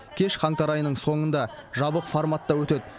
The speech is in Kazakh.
кеш қаңтар айының соңында жабық форматта өтеді